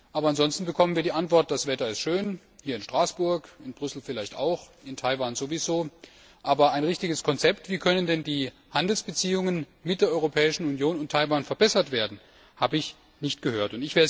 Aber ansonsten bekommen wir die Antwort Das Wetter ist schön hier in Straßburg, in Brüssel vielleicht auch, in Taiwan sowieso aber ein richtiges Konzept, wie die Handelsbeziehungen zwischen der Europäischen Union und Taiwan verbessert werden können, habe ich nicht gehört.